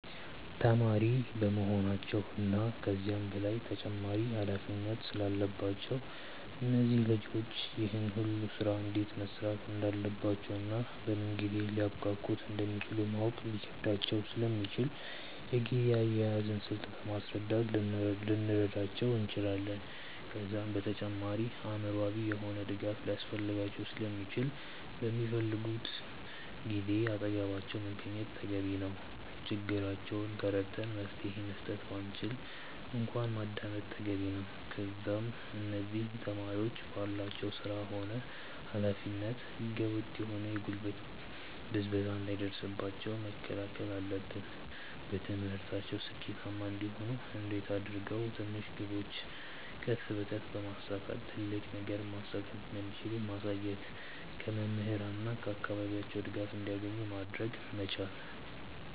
ተማሪ በመሆናቸው እና ከዛም በላይ ተጨማሪ ኃላፊነት ስላለባቸው እነዚህ ልጆች ይህን ሁሉ ስራ እንዴት መስራት እንዳለባቸውና በምን ጊዜ ሊያብቃቁት እንደሚችሉ ማወቅ ሊከብዳቸው ስለሚችል የጊዜ አያያዝን ስልት በማስረዳት ልንረዳቸው እንችላለን። ከዛም በተጨማሪ አእምሮአዊ የሆነ ድጋፍ ሊያስፈልጋቸው ስለሚችል በሚፈልጉን ጊዜ አጠገባቸው መገኘት ተገቢ ነው። ችግራቸውን ተረድተን መፍትሄ መስጠት ባንችል እንኳን ማዳመጥ ተገቢ ነው። ከዛም እነዚህ ተማሪዎች ባላቸው ስራ ሆነ ኃላፊነት ህገ ወጥ የሆነ የጉልበት ብዝበዛ እንዳይደርስባቸው መከላከል አለብን። በትምህርታቸው ስኬታማ እንዲሆኑ እንዴት አድርገው ትንሽ ግቦችን ቀስ በቀስ በማሳካት ትልቅ ነገርን ማሳካት እንደሚችሉ ማሳየት። ከመምህራን እና ከአካባቢያቸው ድጋፍ እንዲያገኙ ማድረግ መቻል።